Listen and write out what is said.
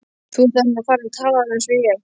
Þú ert nú farinn að tala alveg eins og ég!